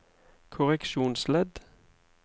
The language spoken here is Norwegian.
korreksjonsledd